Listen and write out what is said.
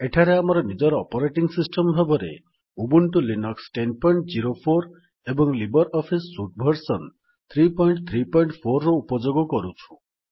ଏଠାରେ ଆମେ ନିଜ ଅପରେଟିଙ୍ଗ୍ ସିଷ୍ଟମ୍ ଭାବରେ ଉବୁଣ୍ଟୁ ଲିନକ୍ସ ୧୦୦୪ ଏବଂ ଲିବର୍ ଅଫିସ୍ ସୁଟ୍ ଭର୍ସନ୍ ୩୩୪ ର ଉପଯୋଗ କରୁଛୁ